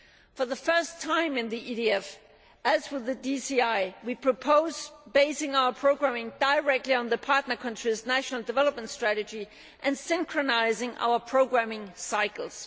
For the first time in the EDF as with the DCI we propose basing our programming directly on the partner country's national development strategy and synchronising our programming cycles.